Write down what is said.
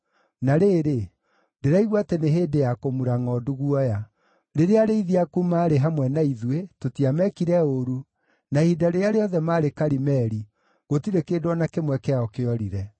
“ ‘Na rĩrĩ, ndĩraigua atĩ nĩ hĩndĩ ya kũmura ngʼondu guoya. Rĩrĩa arĩithi aku maarĩ hamwe na ithuĩ, tũtiamekire ũũru, na ihinda rĩrĩa rĩothe maarĩ Karimeli gũtirĩ kĩndũ o na kĩmwe kĩao kĩorire.